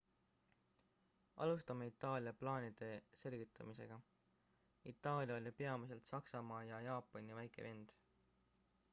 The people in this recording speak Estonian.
alustame itaalia plaanide selgitamisega itaalia oli peamiselt saksamaa ja jaapani väike vend